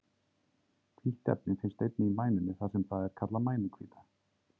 Hvítt efni finnst einnig í mænunni þar sem það er kallað mænuhvíta.